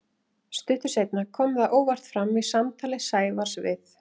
Stuttu seinna kom það óvart fram í samtali Sævars við